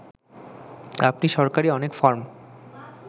আপনি সরকারি অনেক ফরম